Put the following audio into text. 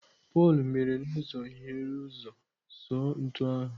Pọl mere n'ụzọ hiere ụzọ sụọ ntu ahụ.